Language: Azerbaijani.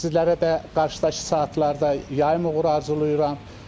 Sizlərə də qarşıdakı saatlarda yayım uğuru arzulayıram.